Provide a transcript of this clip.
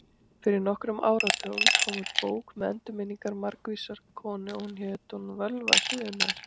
Fyrir nokkrum áratugum kom út bók með endurminningum margvísrar konu og hét hún Völva Suðurnesja.